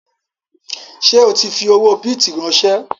Ṣé o tí fi owó bìtì ránsẹ́?